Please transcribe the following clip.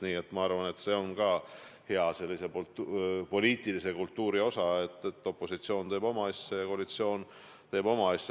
Nii et ma arvan, et see kuulub hea poliitilise kultuuri juurde, et opositsioon teeb oma asja ja koalitsioon teeb oma asja.